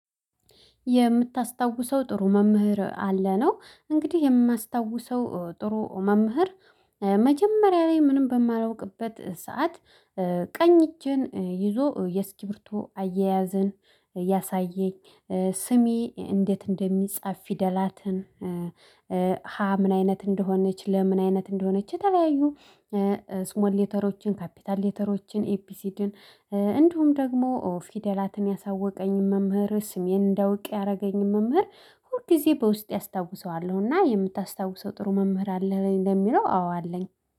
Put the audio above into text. የምታስታውሰው ጥሩ መምህር አለ ነው። እንግዲህ የማስታውሰው ጥሩ መምህር መጀመሪያ ላይ ምንም በማላውቅበት ሰዓት ቀኝ እጄን ይዞ የስክርቢቶ አያያዝን ያሳየኝ። ስሜ እንዴት እንደሚጻፍ ፊደላትን። ሀ ምን አይነት እንደሆነች ለ ምን አይነት እንደሆነች የተለያዩ ስሞል ሌተሮችን ካፒታል ሌተሮችን ኤቢሲድን እንዲሁም ደግሞ ፊደላትን ያሳወቀኝ መምህር ስሜን እንዳውቅ ያደረገኝን መምህር። ሁል ጊዜ በውስጤ አስታውሰዋለሁና። የምታስታውሰው ጥሩ መምህር አለህ? ለሚለው አዎ አለኝ